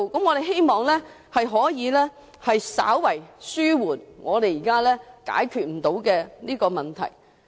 我們希望這有助稍為紓緩現時未能解決的問題。